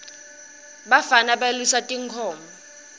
bafana balusa tinkhomo